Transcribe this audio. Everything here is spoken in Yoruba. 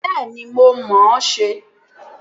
Bẹ́ẹ̀ni, mo mọ̀ ọ́n ṣe